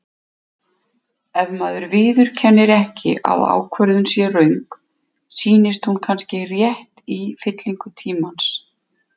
Ef maður viðurkennir ekki að ákvörðun sé röng, sýnist hún kannski rétt í fyllingu tímans.